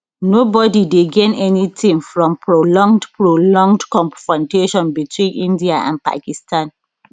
nobody dey gain anytin from prolonged prolonged confrontation between india and pakistan